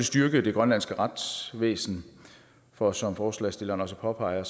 styrke det grønlandske retsvæsen for som forslagsstilleren også påpeger